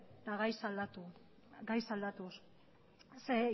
eta gaiz aldatuz